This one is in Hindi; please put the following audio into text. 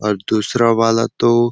और दूसरा वाला तो --